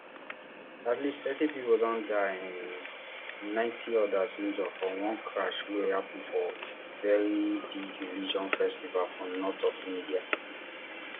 at least thirty pipo don die and um ninety odas injure for one crush wey happun for one very big religious festival for north of india